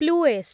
ପ୍ଲୁଏଷ୍ଟ୍